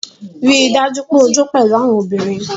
Rii daju pe o jo pẹlu awọn obinrin